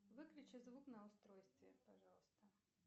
выключи звук на устройстве пожалуйста